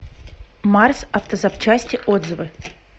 марс автозапчасти отзывы